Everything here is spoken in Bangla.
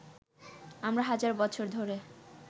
আমরা হাজার বছর ধরে